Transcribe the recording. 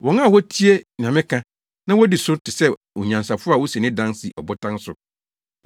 “Wɔn a wotie nea meka, na wodi so no te sɛ onyansafo a osi ne dan si ɔbotan so.